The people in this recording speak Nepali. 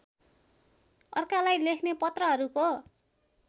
अर्कालाई लेख्ने पत्रहरूको